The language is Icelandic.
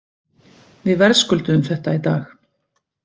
Við verðskulduðum þetta í dag.